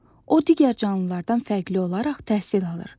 O digər canlılardan fərqli olaraq təhsil alır.